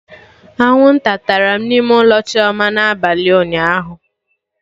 Anwụnta tara m n'ime ụlọ Chioma na abalị ụnyaahụ